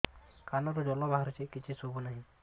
କାନରୁ ଜଳ ବାହାରୁଛି କିଛି ଶୁଭୁ ନାହିଁ